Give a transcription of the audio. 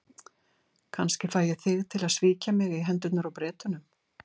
Kannski fæ ég þig til að svíkja mig í hendurnar á Bretunum.